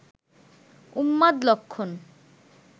উন্মাদ লক্ষণ